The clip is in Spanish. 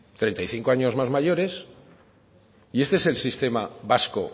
treinta y cinco años más mayores y este es el sistema vasco